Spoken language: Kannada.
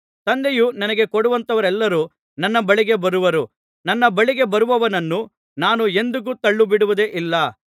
ತಂದೆಯು ನನಗೆ ಕೊಡುವಂಥವರೆಲ್ಲರೂ ನನ್ನ ಬಳಿಗೆ ಬರುವರು ನನ್ನ ಬಳಿಗೆ ಬರುವವನನ್ನು ನಾನು ಎಂದಿಗೂ ತಳ್ಳಿಬಿಡುವುದೇ ಇಲ್ಲ